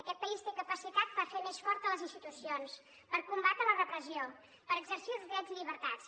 aquest país té capacitat per fer més fortes les institucions per combatre la repressió per exercir els drets i llibertats